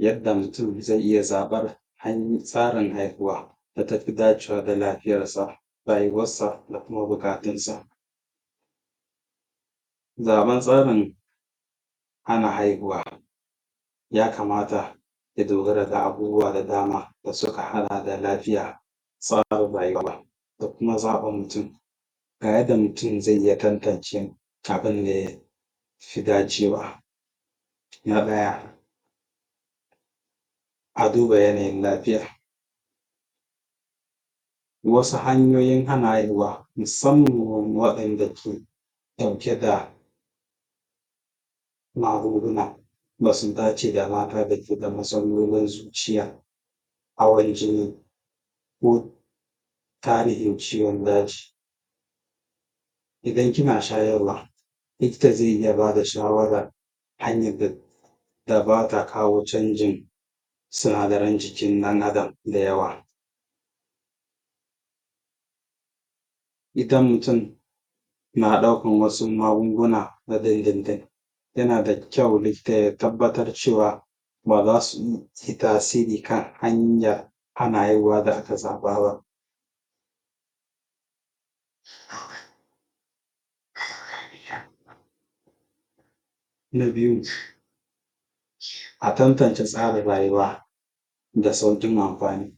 Yadda mutum ze iya zaɓan hanyar tsarin haihuwa da tafi dacewa da lafiyarsa, rayuwarsa da kuma buƙatunsa. Zaɓan tsarin hana haihuwa ya kamata ya dogara da abubuwa da dama da suka haɗa da lafiya, zaɓin rayuwa da kuma zaɓin ji. Ga yadda mutum ze iya tantance abinda yafi dacewa. Na ɗaya a duba yanayin lafiya. Wasu hanyoyin hana haihuwa musamman waɗanda ke ɗauke da magunguna basu dace da mata da ke da matsalolin zuciya, hawan jini ko tarihin ciwon daji. Idan kina shayarwa likita ze iya bada shawara hanyar da bata kawo sauyin sinadaran jikin ɗan adam da yawa. Idan mutum na ɗaukan wasu magunguna na din din din yana da kyau likita ya tabbatar cewa baza su yi tasiri kan hanyar hana haihuwa da aka zaɓa ba. um Na biyu a tantance tsarin rayuwa da sauƙin amfani.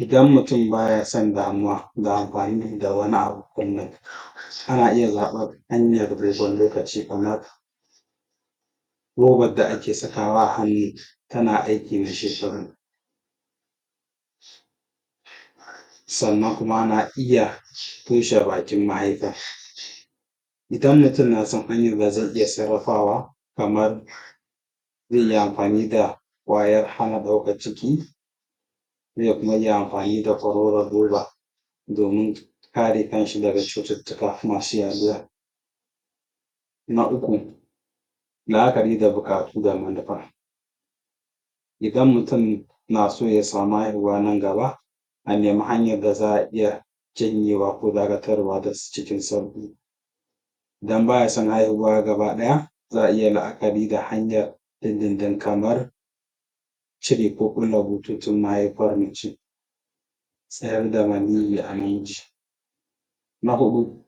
Idan mutum baya son damuwa da amfani da wani abu kullum yana iya zaɓar hanyar dogon lokaci kamar robar da ake sakawa a hannu tana aiki na shekaru. Sannan kuma ana iya um toshe bakin mahaifar. Idan mutum nason hanyar da zai iya sarrafawa kamar ze iya amfani da kwayar hana ɗaukar ciki, ze kuma iya amfani da kororon roba domin kare kanshi daga cututtuka masu yaduwa. Na uku la'akari da buƙatu da manufar. Idan mutum na so ya sami haihuwa nan gaba a nemi hanyar da za’a iya janyewa ko dagatarwa cikin sauƙi. Idan baya son haihuwa gaba ɗaya za'a iya la'akari da hanyar din din din kamar cire ko kulle bututun mahaifar mace, tsayar da maniyyi a hanji. Na huɗu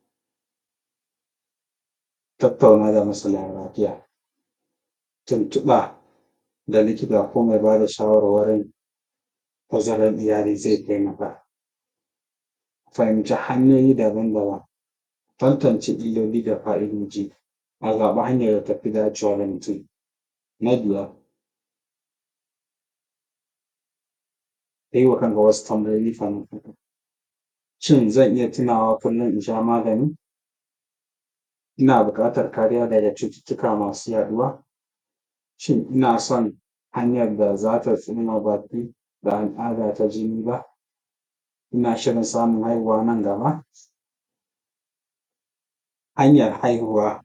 tattauna da masana lafiya. Tuntuɓa ga likita ko mai bada shawarwarin tazaran iyali ze taimaka fahimtar hanyoyi daban-daban, tantance illoli da fa’idoji a zaɓi hanyar da tafi dacewa da mutum. Na biyar yiwa kanka wasu tambayoyi kafin ka tafi. Shin zan iya tunawa kullum in sha magani? Ina buƙatar kariya daga cututtuka masu yaɗuwa? Shin inason hanyar da ta tsoma baki da al'ada ta jini? Ina shirin samun haihuwa nan gaba? Hanyar hana haihuwa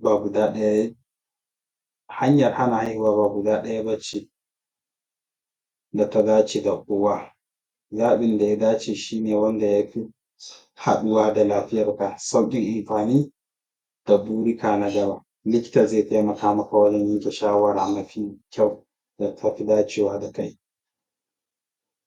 ba guda ɗaya bace da ta dace da kowa. Zaɓin da ya dace shine wanda yafi haɗuwa da lafiyarka, sauƙin amfani da burika na gaba. Likita ze taimaka maka wajen yanke shawara mafi kyau da tafi dacewa da kai.